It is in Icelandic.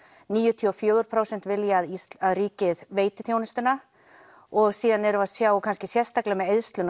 níutíu og fjögur prósent vilja að ríkið veiti þjónustuna og síðan erum við að sjá kannski sérstaklega með eyðsluna